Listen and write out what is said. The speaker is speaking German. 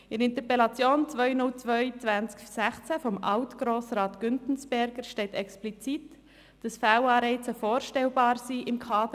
In der Interpellation 202-2016 von Alt-Grossrat Güntensperger steht explizit, dass im Kaderlohnsystem Fehlanreize vorstellbar sind.